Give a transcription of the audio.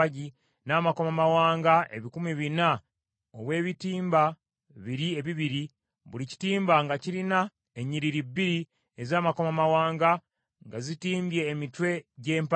n’amakomamawanga ebikumi bina obw’ebitimba biri ebibiri, buli kitimba nga kirina ennyiriri bbiri ez’amakomamawanga, nga zitimbye emitwe gy’empagi.